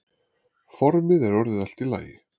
Formið er orðið allt í lagi.